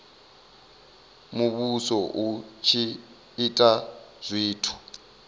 muvhuso u tshi ita zwithu